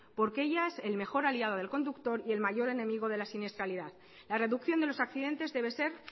porque ellas el mejor aliado del conductor y el mayor enemigo de la siniestralidad la reducción de los accidentes debe ser